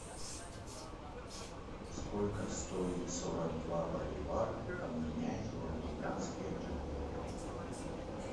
сколько стоит сорок два боливар обменять в американские доллары